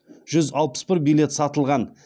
жүз алпыс бір билет сатылған